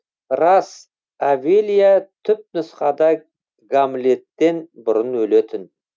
рас овелия түпнұсқада гамлеттен бұрын өлетін